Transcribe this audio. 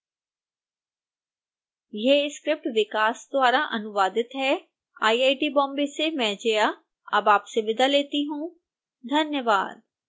यह स्क्रिप्ट विकास द्वारा अनुवादित है आईआईटी बॉम्बे से मैं जया अब आपसे विदा लेती हूँ धन्यवाद